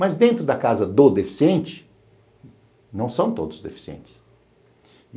Mas dentro da casa do deficiente, não são todos deficientes.